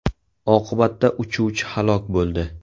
Oqibatda uchuvchi halok bo‘ldi.